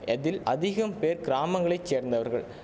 எதில் அதிகம் பேர் கிராமங்களை சேர்ந்தவர்கள்